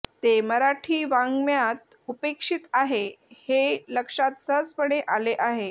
ते मराठी वाङ्मयात उपेक्षित आहे हे लक्षात सहजपणे आले आहे